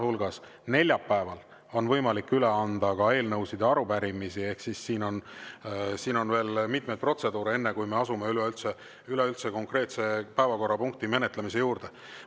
Ka neljapäeval on võimalik üle anda eelnõusid ja arupärimisi, ehk siin on veel mitmeid protseduure, enne kui me asume üleüldse konkreetse päevakorrapunkti menetlemise juurde.